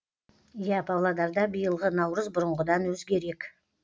иә павлодарда биылғы наурыз бұрынғыдан өзгерек